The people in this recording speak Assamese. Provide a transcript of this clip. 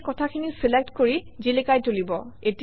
ইয়ে কথাখিনি চিলেক্ট কৰি জিলিকাই তুলিব